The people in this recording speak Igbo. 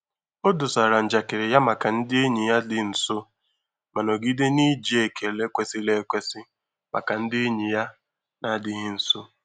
O dosara njakịrị ya maka ndị enyi ya dị nso ma nọgide n'iji ekele kwesiri ekwesi maka ndị enyi ya na-adịghị nso.